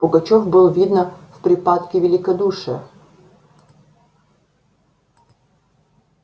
пугачёв был видно в припадке великодушия